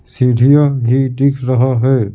सीढ़ियां भि दिख रहा है ।